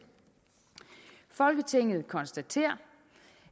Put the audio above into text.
folketinget konstaterer